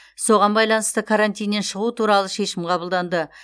соған байланысты карантиннен шығу туралы шешім қабылданды